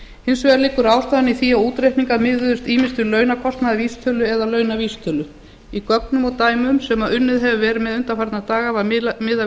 hins vegar liggur ástæðan í því að útreikningar miðuðust ýmist við launakostnaðarvísitölu eða launavísitölu í gögnum og dæmum sem unnið hefur verið með undanfarna daga var miðað við